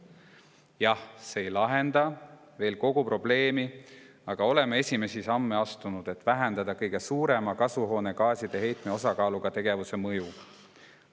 Jah, see ei lahenda veel kogu probleemi, aga oleme astunud esimesi samme, et vähendada kõige suurema kasvuhoonegaaside heitme osakaaluga tegevuse mõju.